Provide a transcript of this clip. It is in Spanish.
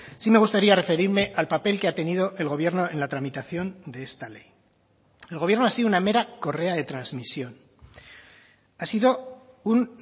si me gustaría referirme al papel que ha tenido el gobierno en la tramitación de esta ley el gobierno ha sido una mera correa de transmisión ha sido un